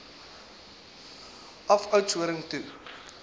af oudtshoorn toe